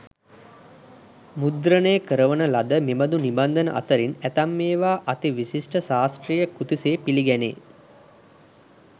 මුද්‍රණය කරවන ලද මෙබඳු නිබන්ධන අතරින් ඇතැම් ඒවා අති විශිෂ්ට ශාස්ත්‍රීය කෘති සේ පිළිගැනේ.